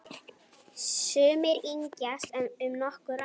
Sumir yngjast um nokkur ár.